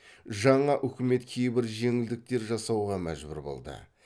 жаңа үкімет кейбір жеңілдіктер жасауға мәжбүр болды